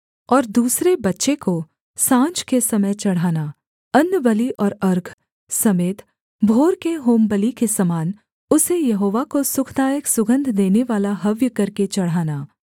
और दूसरे बच्चे को साँझ के समय चढ़ाना अन्नबलि और अर्घ समेत भोर के होमबलि के समान उसे यहोवा को सुखदायक सुगन्ध देनेवाला हव्य करके चढ़ाना